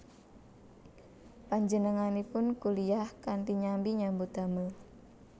Panjenenganipun kuliyah kanthi nyambi nyambut damel